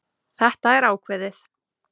Þetta er ákveðið.